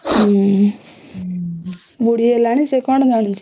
ହୁଁ ବୁଢ଼ୀ ହେଲାଣି ସେ କଣ ଯାଉଁଛି